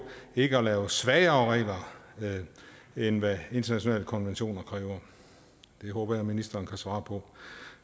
ikke at lave svagere regler end hvad internationale konventioner kræver det håber jeg ministeren kan svare på